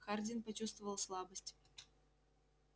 хардин почувствовал слабость